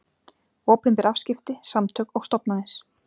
Opinber afskipti, samtök og stofnanir.